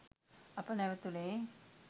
අප නැවතුණේ